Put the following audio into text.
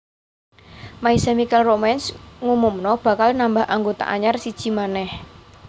My Chemical Romance ngumumno bakal nambah anggota anyar siji maneh